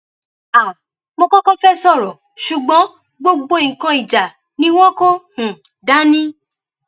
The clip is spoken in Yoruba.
um mo kọkọ fẹẹ sọrọ ṣùgbọn gbogbo nǹkan ìjà ni wọn kò um dání